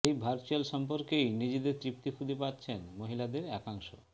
এই ভার্চুয়াল সম্পর্কেই নিজেদের তৃপ্তি খুঁজে পাচ্ছেন মহিলাদের একাংশ